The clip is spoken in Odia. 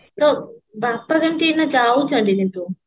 ତୋ ବାପା କେମତି ଏଇନା ଯାଉଛନ୍ତି କିନ୍ତୁ